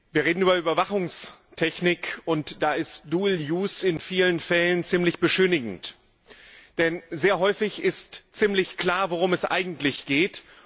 Wir reden über Überwachungstechnik, und da ist in vielen Fällen ziemlich beschönigend, denn sehr häufig ist ziemlich klar, worum es eigentlich geht.